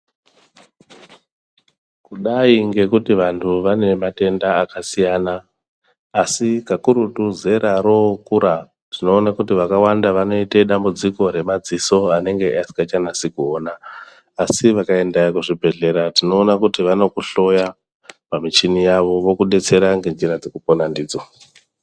Kudai ngekuti vanhu vanematenda akasiyana asi kakurutu zera rookura tinoone kuti vakawanda vanoite dambudziko remadziso anenge asikachanasi kuona asi vakaenda kuzvibhehleya tinoona kuti vanokuhloya pamuchini yavo vokudetsera ngenjira dzekuponandidzo.